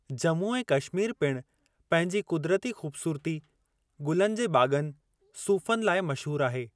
जम्मू ऐं कश्मीर पिणु पंहिंजी क़ुदिरती ख़ूबसूरती, गुलनि जे बाग़नि, सूफ़नि लाइ मशहूर आहे।